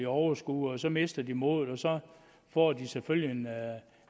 overskue og så mister de modet og så får de selvfølgelig